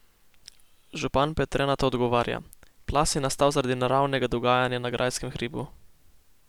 Župan Petre na to odgovarja: 'Plaz je nastal zaradi naravnega dogajanja na grajskem hribu.